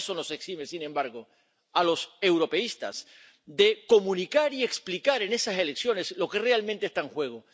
Nada de eso nos exime, sin embargo, a los europeístas de comunicar y explicar en esas elecciones lo que realmente está en juego.